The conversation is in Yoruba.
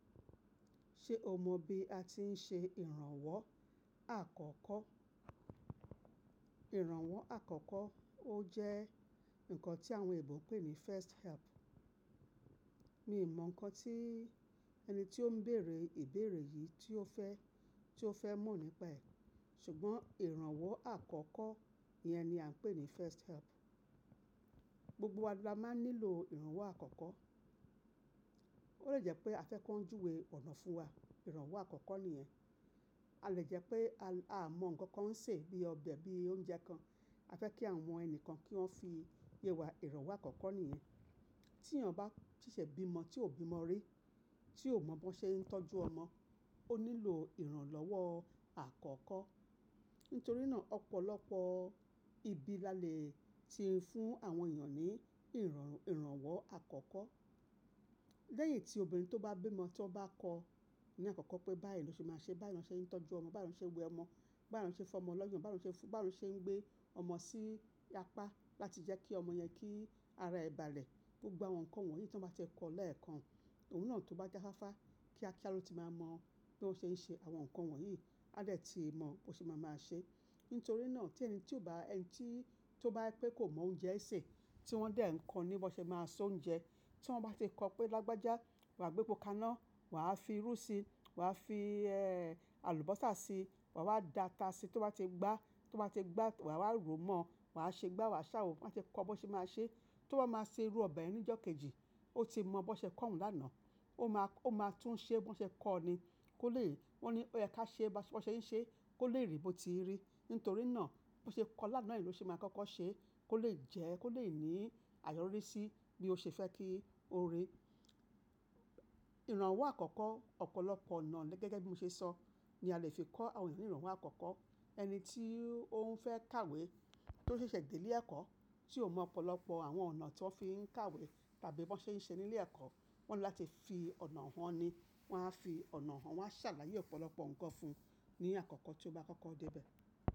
Ṣe o mọ bi a ti n ṣe iranwọ akọkọ? Iranwọ akọkọ o jẹ nkan ti awọn eebo npe ni first help. Mi o mọ nkan ti ẹni ti o n bere ibere yii ti o fẹ, ti o fẹ mọ nipa ẹ, ṣugbọn iranwọ akọkọ yẹn ni a npe ni first help. Gbogbo wa ni a maa n nilo iranwọ akọkọ. O le jẹ pe a fẹ kan juwe ọna fun wa, iranwọ akọkọ niyẹn. A le jẹ pe a mọ nkan kan n ṣe bi ọbẹ bi ounje kan, a fẹ ki awọn ẹni kan ki wọn fi ye wa, iranwọ akọkọ niyẹn. Ti iyan ba ṣeṣẹ bimọ ti o bi ọmọ rí, ti o mọ bó ṣe n tọju ọmọ, o nilo iranlọwọ akọkọ. Nitori naa ọpọlọpọ ibi lale ti fun awọn eyan ni iranwọ akọkọ. Leyin ti obinrin to ba bimọ ti won ba kọ ni akọkọ pe bayi lo ṣe máa ṣe, bayi lan ṣe n tọju ọmọ, bayi lan ṣe n gbe ọmọ, bayi lan ṣe n fọ ọmọ lọyan, bayi lan ṣe n gbe ọmọ si apa lati jẹ ki ọmọ yẹn ki ara ẹ bàlẹ. Gbogbo awọn nkan wọnyi ti wọn ba ti kọ lẹẹkan, oun naa to ba jáfáfá kíá kíá lo ti maa mọ bi won ṣe n ṣe awọn nkan wọnyi, a dẹ ti mọ bó ṣe ma máa ṣe. Nitori naa ti ẹni ti o ba, ẹni ti o ba pe ko mọ ounje ṣe, ti wọn dẹ n kọ ni bó ṣe máa se ounje, ti wọn ba ṣe kọ pe lagbaja wa gbe poka naa, wa a fi iru si, wa a fi alubosa si, wa wa data si, ti o ba ti gba, ti o ba ti gba wa wa ro mọ, wa a ṣe gba wa a sawo, wọn ti kọ bó ṣe máa ṣe. Ti o ba máa ṣe iru ọbẹ yẹn nijokeji, o ti mọ bó ṣe kọ oun lana, o ma, o ma tun ṣe bó ṣe kọ ọ ni. O le, won ni o yẹ ká ṣe bó ṣe n ṣe, ko le ri bó ti n rí. Nitori naa bó ṣe kọ lana yen lo ṣe máa kọ́kọ́ ṣe, ko le jẹ, ko le ni ayọri sí bí o ṣe fẹ kí o ri. Iranwọ akọkọ ọpọlọpọ ọna gẹgẹ bi mo ṣe sọ ni a le fi kọ awọn ẹeyan ni iranwọ akọkọ. Ẹni ti oun fẹ kawe ti o ṣẹṣẹ de ile ẹkọ, ti o mọ ọpọlọpọ awọn ọna ti wọn fi n kawe tabi bó ṣe n ṣe ni ile ẹkọ, wọn ni lati fi ọna han ni. Wọn a fi ọna wọn, wọn a ṣàlàyé ọpọlọpọ nkan fun ni akọkọ ti o ba kọkọ de ibẹ.